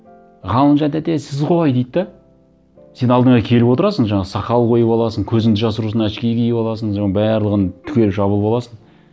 ғалымжан тәте сіз ғой дейді де сен алдына келіп отырасың жаңағы сақал қойып аласың көзіңді жасыру үшін очки киіп аласың соның барлығын түгел жабылып аласың